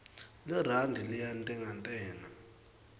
lirandi liyantengantenga